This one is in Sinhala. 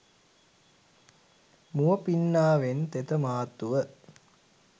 මුව පින්නාවෙන් තෙත මාත්තුව